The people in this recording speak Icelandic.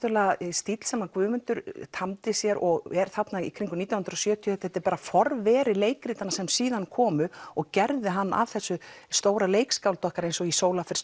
stíll sem Guðmundur tamdi sér og er þarna kringum nítján hundruð og sjötíu þetta er bara forveri leikritanna sem síðan komu og gerðu hann að þessu stóra leikskáldi okkar eins og í